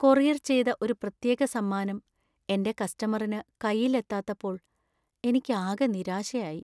Courier ചെയ്ത ഒരു പ്രത്യേക സമ്മാനം എന്‍റെ കസ്റ്റമറിന് കൈയിൽ എത്താത്തപ്പോൾ എനിക്കാകെ നിരാശയായി.